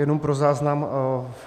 Jenom pro záznam.